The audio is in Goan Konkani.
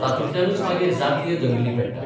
तातूंतल्यानच मागीर जातीय दंगली पेट्टात.